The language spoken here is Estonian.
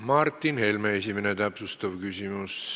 Martin Helme, esimene täpsustav küsimus.